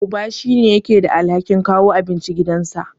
Uba shine yake da alhakin kawo abinci gidansa.